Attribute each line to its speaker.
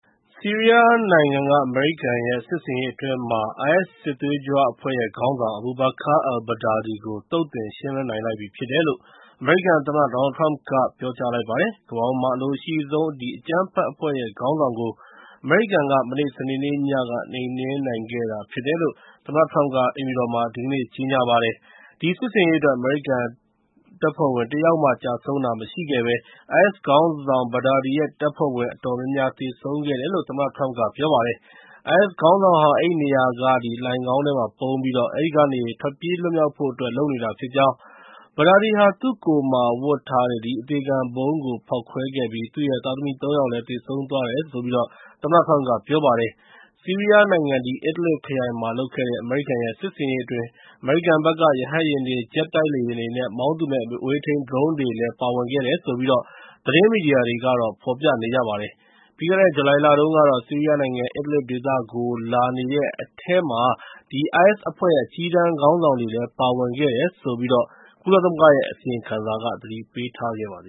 Speaker 1: ဆီးရီးယားနိုင်ငံ အမေရိကန်ရဲ့ စစ်ဆင်ရေးအတွင်း IS ခေါင်းဆောင် Abu Bakr al-Baghdadi ကို သုတ်သင်ရှင်းလင်းနိုင်ခဲ့တယ်လို့ အမေရိကန်သမ္မတ Donald Trump က ပြောလိုက်ပါတယ်။ ကမ္ဘာပေါ်မှာ အလိုအရှိဆုံး အကြမ်းဖက်ခေါင်းဆောင်ကို အမေရိကန်က မနေ့ စနေနေ့ညက နှိမ်နင်းနိုင်ခဲ့တယ်လို့ သမ္မတ Trump က အိမ်ဖြူတော်မှာ ဒီကနေ့ ကြေညာလိုက်ပါတယ်။ ဒီစစ်ဆင်ရေးအတွက် အမေရိကန်တပ်ဖွဲ့ဝင် တယောက်မှ ကျဆုံးတာမရှိခဲ့ဘဲ IS ခေါင်းဆောင် Baghdadi ရဲ့ တပ်ဖွဲ့ဝင်တွေ အတော်များများ သေဆုံးခဲ့တယ်လို့လည်း သမ္မတ Trump က ပြောပါတယ်။ IS ခေါင်းဆောင်ဟာ အဲဒီနေရာက လိုဏ်ခေါင်းထဲမှာ ပုန်းပြီးတော့ အဲဒီကနေ ထွက်ပြေးလွတ်မြောက်ဖို့အတွက် လုပ်နေတာဖြစ်ကြောင်း၊ Baghdadi ဟာ သူ့ကိုယ်မှာ ဝတ်ထားတဲ့ အသေခံဗုံံးကို ဖောက်ခွဲခဲ့ပြီး သူ့ရဲ့ သားသမီး ၃ ယောက်လည်း သေဆုံးသွားတယ်လို့ သမ္မတ Trump က ပြောပါတယ်။ ဆီရီးယားနိုင်ငံ Idlib ခရိုင်မှာလုပ်တဲ့ အဲဒီစစ်ဆင်ရေးအတွင်း အမေရိကန်ဘက်က ရဟတ်ယာဉ်တွေ၊ ဂျက်တိုက်လေယာဉ်တွေနဲ့ မောင်းသူမဲ့ အဝေးထိန်း ဒရုန်းယာဉ်တွေလည်း ပါဝင်တယ်လို့ သတင်းမီဒီယာတွေကတော့ ဖော်ပြပါတယ်။ ပြီးခဲ့တဲ့ ဇူလိုင်လတုန်းကတော့ ဆီးရီးယားနိုင်ငံ Idlib ဒေသကို လာနေတဲ့အထဲမှာ IS အဖွဲ့ရဲ့ အကြီးတန်းခေါင်းဆောင်တွေလည်း ပါဝင်တယ်ဆိုပြီး ကုလသမဂ္ဂရဲ့ အစီရင်ခံစာက သတိပ
Speaker 2: ေးခဲ့ပါတ